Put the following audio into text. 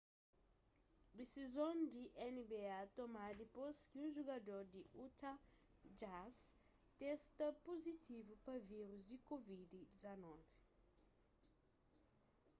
disizon di nba tomadu dipôs ki un jugador di utah jazz testa puzitivu pa vírus di covid-19